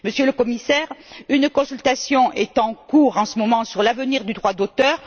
Monsieur le Commissaire, une consultation est en cours en ce moment sur l'avenir du droit d'auteur.